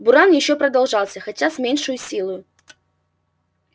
буран ещё продолжался хотя с меньшею силою